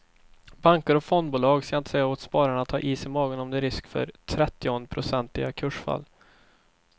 Banker och fondbolag ska inte säga åt spararna att ha is i magen om det är en risk för trettionprocentiga kursfall.